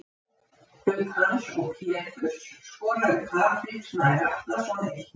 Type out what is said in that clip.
Auk hans og Péturs skoraði Patrik Snær Atlason eitt mark.